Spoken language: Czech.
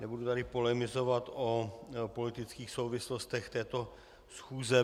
Nebudu tady polemizovat o politických souvislostech této schůze.